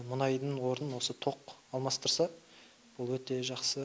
мұнайдың орнын осы тоқ алмастырса ол өте жақсы